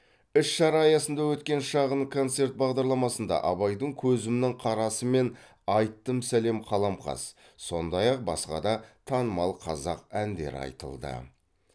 іс шара аясында өткен шағын концерт бағдарламасында абайдың көзімнің қарасы мен айттым сәлем қаламқас сондай ақ басқа да танымал қазақ әндері айтылды